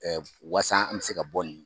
waasa an bɛ se ka bɔ nin